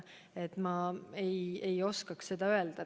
Ma ei oska seda öelda.